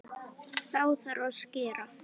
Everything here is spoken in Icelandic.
Þá þarf að skera.